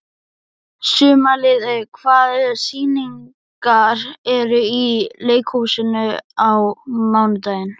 Sumarliði, hvaða sýningar eru í leikhúsinu á mánudaginn?